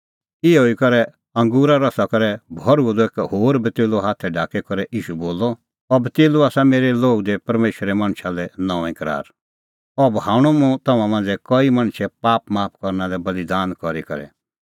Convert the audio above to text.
इहअ ई करै अंगूरे रसा करै भरअ द एक होर कटोरअ हाथै ढाकी करै ईशू बोलअ अह कटोरअ आसा मेरै लोहू दी परमेशरे मणछा लै नऊंईं करार अह बहाऊंणअ तम्हां मांझ़ै कईए पाप माफ करना लै बल़ीदान करी करै